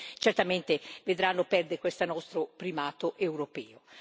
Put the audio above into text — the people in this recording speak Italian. certamente vedranno perdere questo nostro primato europeo.